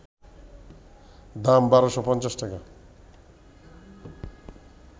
দাম ১,২৫০ টাকা